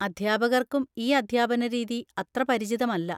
അധ്യാപകർക്കും ഈ അധ്യാപന രീതി അത്ര പരിചിതമല്ല.